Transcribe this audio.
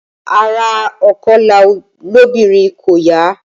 Ara ònkọlà lóbìnrin kò yà á